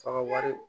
F'a ka wari